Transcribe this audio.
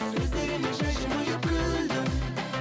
сөздеріме жай жымиып күлдің